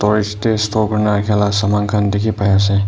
te store kuri ne rakhi la saman khan dikhi pai ase.